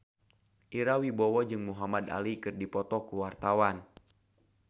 Ira Wibowo jeung Muhamad Ali keur dipoto ku wartawan